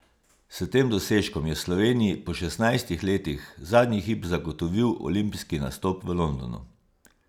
S tem dosežkom je Sloveniji po šestnajstih letih zadnji hip zagotovil olimpijski nastop v Londonu.